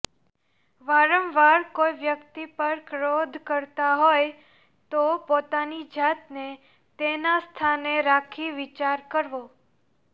વારંવાર કોઈ વ્યક્તિ પર ક્રોધ કરતાં હોય તો પોતાની જાતને તેના સ્થાને રાખી વિચાર કરવો